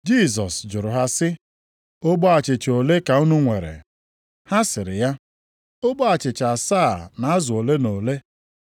Jisọs jụrụ ha sị, “Ogbe achịcha ole ka unu nwere?” Ha sịrị ya, “Ogbe achịcha asaa na azụ ole na ole.”